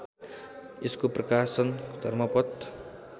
यसको प्रकाशन धर्मपथ